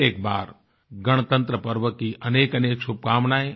फिर एक बार गणतंत्रपर्व की अनेकअनेक शुभकामनाएँ